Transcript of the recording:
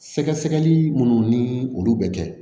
Sɛgɛsɛgɛli minnu ni olu bɛ kɛ